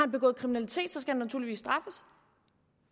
begået kriminalitet skal han naturligvis straffes